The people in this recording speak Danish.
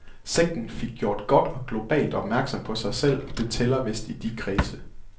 Sekten fik gjort godt og globalt opmærksom på sig selv, og det tæller vist i de kredse.